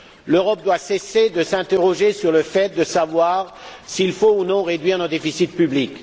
L'Europe doit cesser de s'interroger sur le fait de savoir s'il faut ou non réduire nos déficits publics.